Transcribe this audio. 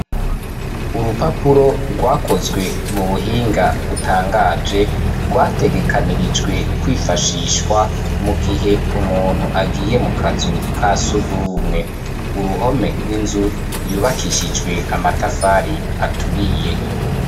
Urupapuro rwakozwe mu buhinga butangaje rwategekanirijwe kwifashishwa mu gihe umuntu agiye mu kazu ka sugumwe. Uruhome rw'inzu yubakishijwe amatafari aturiye.